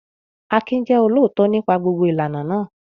Akin jẹ́ olóòótọ́ nípa gbogbo ìlànà náà.